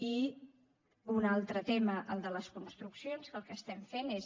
i un altre tema el de les construccions que el que estem fent és